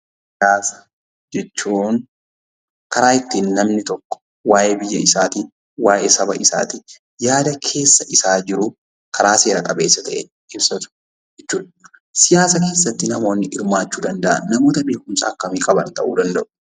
Siyaasa jechuun karaa ittiin namni tokko waayee biyya isaatii, waayee saba isaatii yaada keessa isaa jiru karaa seera qabeessa ta'een ibsatu jechuu dha. Siyaasa keessatti namoonni hirmaachuu danda'an namoota beekumsa akkamii qaban ta'uu danda'u?